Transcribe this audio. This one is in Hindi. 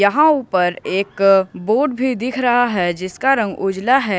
यहां ऊपर एक बोर्ड भी दिख रहा है जिसका रंग उजला हुआ है।